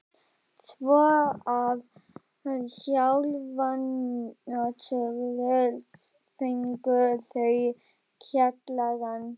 Svo að sjálfsögðu fengu þau kjallarann.